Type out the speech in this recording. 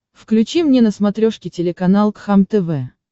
включи мне на смотрешке телеканал кхлм тв